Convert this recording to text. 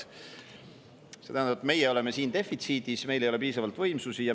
See tähendab, et meie oleme siin defitsiidis ja meil ei ole piisavalt võimsusi.